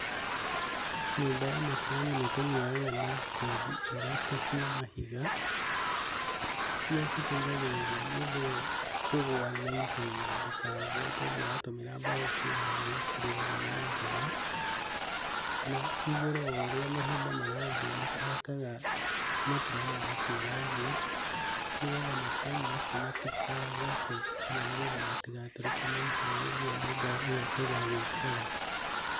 Nyũmba ya matiramu nĩtũmĩoyaga na kothi ithatũ cia mahiga. Iria citeithagĩrĩria nyũmba ĩyo kũgwa na ihenya. Tondũ watũmĩra mbaũ kũoya nĩcirĩagwo nĩ mũthũa na igũrũ o ũrĩa ihinda rĩrathiĩ nĩtũhakaga matiramu macio rangi. Nigetha matiramu macio matikagace kana nĩgetha matigatũrĩke na ihenya, ũguo nyũmba ĩyo ĩgagĩikara.